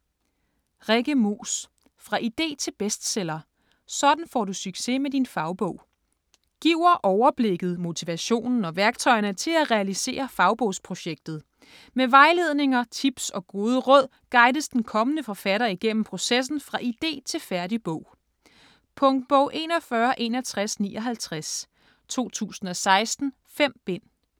Moos, Rikke: Fra idé til bestseller: sådan får du succes med din fagbog Giver overblikket, motivationen og værktøjerne til at realisere fagbogsprojektet. Med vejledninger, tips og gode råd guides den kommende forfatter igennem processen fra idé til færdig bog. Punktbog 416159 2016. 5 bind.